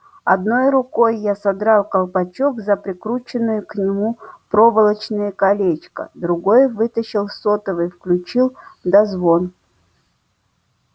одной рукой я содрал колпачок за прикрученное к нему проволочное колечко другой вытащил сотовый включил дозвон